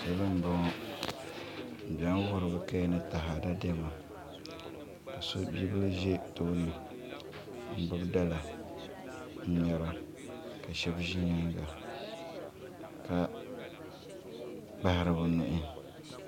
Salo n boŋo bi ʒɛmi wuhiri bi kaya ni taada Diɛma ka bibil ʒɛ tooni n gbubi dala n ŋmɛra ka shab ʒi nyaanga ka kpahari bi nuhi